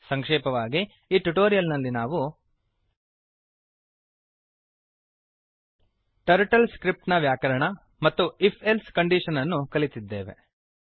ಸಂಕ್ಷೇಪವಾಗಿ ಈ ಟ್ಯುಟೋರಿಯಲ್ ನಲ್ಲಿ ನಾವು ಟರ್ಟಲ್ ಸ್ಕ್ರಿಪ್ಟ್ ಟರ್ಟಲ್ ಸ್ಕ್ರಿಪ್ಟ್ ನ ವ್ಯಾಕರಣ ಮತ್ತು if ಎಲ್ಸೆ ಕಂಡೀಶನ್ ಅನ್ನು ಕಲಿತಿದ್ದೇವೆ